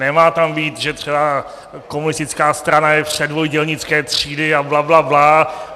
Nemá tam být, že třeba komunistická strana je předvoj dělnické třídy a blablabla.